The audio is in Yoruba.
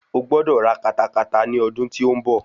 Ẹ gbọ́dọ̀ ra katakata ni ọdún tí ó ń bọ̀.